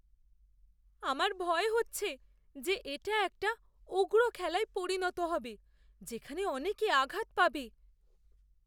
আমার ভয় হচ্ছে যে এটা একটা উগ্র খেলায় পরিণত হবে যেখানে অনেকে আঘাত পাবে।